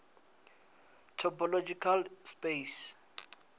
topological space